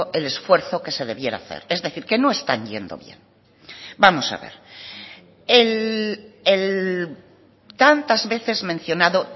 el esfuerzo que se debiera hacer es decir que no están yendo bien vamos a ver el tantas veces mencionado